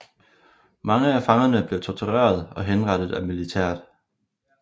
Mange af fangerne blev torteret og henrettet af militæret